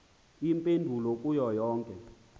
iimpendulo kuyo yonke